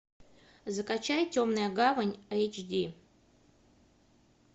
закачай темная гавань эйч ди